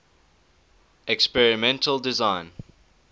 experimental design